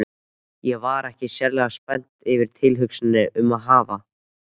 Ég var ekki sérlega spennt yfir tilhugsuninni um að hafa